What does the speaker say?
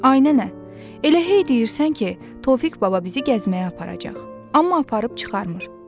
Ay nənə, elə hey deyirsən ki, Tofiq baba bizi gəzməyə aparacaq, amma aparıb çıxarmır.